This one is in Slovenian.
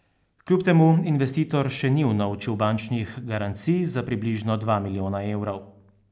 Kljub temu investitor še ni unovčil bančnih garancij za približno dva milijona evrov.